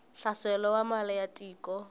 hlaselo wa mali ya tiko